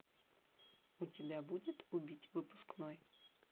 у тебя будет убить выпускной